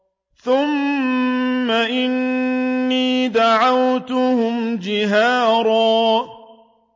ثُمَّ إِنِّي دَعَوْتُهُمْ جِهَارًا